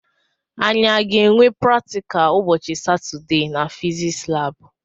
Anyi a ga-enwe praktikal ụbọchị Satọdee na fiziks labụ?